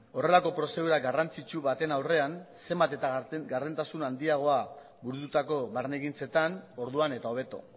horrelako prozedura garrantzitsu baten aurrean zenbat eta gardentasun handiagoa burututako barne ekintzetan orduan eta hobeto